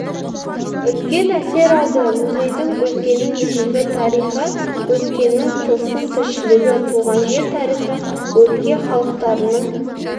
үлкен әсер алды музейдің өлкенің ежелгі тарихы өткеннің тылсым тіршілігі туған жер тарихы өлке халықтарының